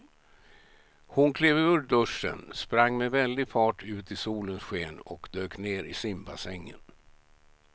Hon klev ur duschen, sprang med väldig fart ut i solens sken och dök ner i simbassängen.